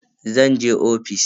Zan je ofis.